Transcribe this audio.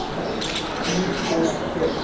duur kos koop